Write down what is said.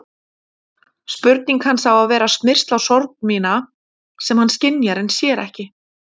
Spurning hans á að vera smyrsl á sorg mína sem hann skynjar en sér ekki.